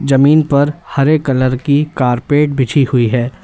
जमीन पर हरे कलर की कारपेट बिछी हुई है।